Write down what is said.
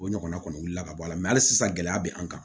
O ɲɔgɔnna kɔni wuli ka bɔ a la hali sisan gɛlɛya bɛ an kan